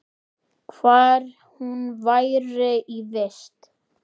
Hvar hún væri í vist.